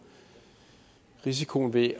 risikoen ved